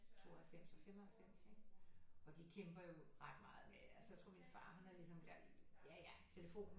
92 og 95 ikke og de kæmper jo ret meget med altså jeg tror min far han har ligesom lært ja ja telefonen